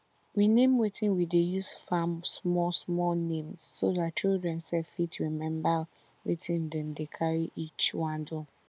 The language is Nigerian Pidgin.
we name wetin we dey use farm small small names so dat children sef go fit remember wetin dem dey carry each one do